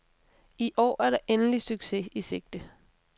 I år er der endelig succes i sigte.